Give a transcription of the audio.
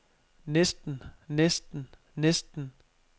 næsten næsten næsten